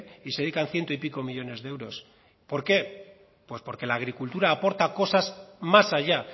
y se dedican ciento y pico millónes de euros por qué pues porque la agricultura aporta cosas más allá